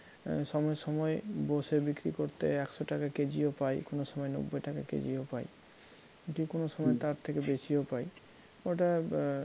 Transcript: সময়ে সময়ে বসে বিক্রী করতে একশো টাকা কেজিও পাই কোনোসময় নব্বই টাকা কেজিও পাই যে কোনো সময় তার থেকে বেশিও পাই ওটা